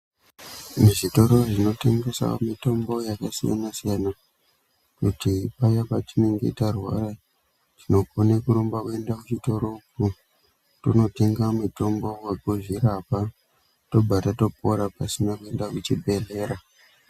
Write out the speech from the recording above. Muzvitoro zvinotengesa mitombo yakasiyana siyana kuti paya patinenge tarwara tinokona kurumba kuenda kuchitoro ko tonotenga mutombo wekuzvirapa tobva tatopora pasina kuenda kuchibhedhlera.